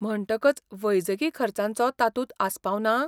म्हणटकच वैजकी खर्चांचो तातूंत आस्पाव ना?